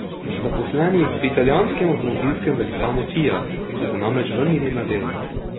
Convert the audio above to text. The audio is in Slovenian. Zaposleni pri italijanskem avtomobilskem velikanu Fiat so se namreč vrnili na delo.